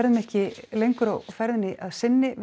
ekki lengra að sinni við